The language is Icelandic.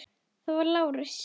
Það var Lárus.